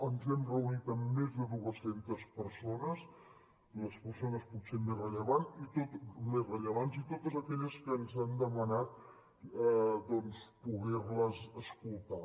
ens hem reunit amb més de dues centes persones les persones potser més rellevants i totes aquelles que ens han demanat poder les escoltar